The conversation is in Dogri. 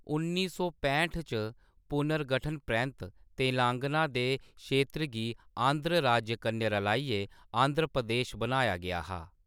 उन्नी सौ पैंह्ट च पुनर्गठन परैंत्त, तेलंगाना दे क्षेत्र गी आंध्र राज्य कन्नै रलाइयै आंध्र प्रदेश बनाया गेआ हा।